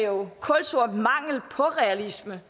jo kulsort mangel på realisme